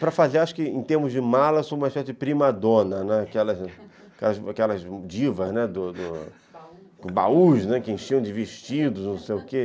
Para fazer, acho que, em termos de mala, sou uma espécie de prima dona, né, aquelas divas do baú, que enchiam de vestidos, não sei o quê